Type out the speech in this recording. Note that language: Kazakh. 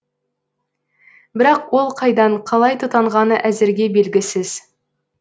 бірақ ол қайдан қалай тұтанғаны әзірге белгісіз